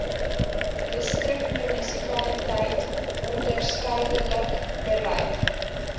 distriksmunisipaliteit onderskeidelik bereid